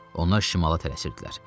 Onlar şimala tələsirdilər.